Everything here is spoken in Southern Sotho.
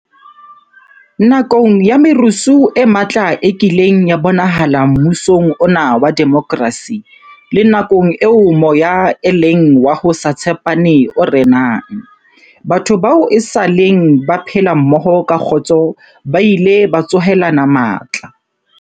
Nakong ya merusu e matla e kileng ya bonahala mmusong ona wa demokrasi, le nakong eo moya e leng wa ho se tshepane o renang, batho bao esaleng ba phela mmoho ka kgotso ba ile ba tsohelana matla.